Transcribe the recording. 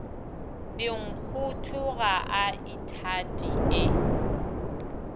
dinkgotho ga a ithate e